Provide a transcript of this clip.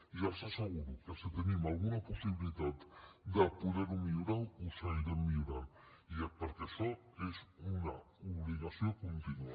i els asseguro que si tenim alguna possibilitat de poderho millorar ho seguirem millorant perquè això és una obligació continua